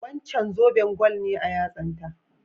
Wancan zoben gwal ne a yatsan ta?